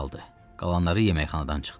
Qalanları yeməkxanadan çıxdı.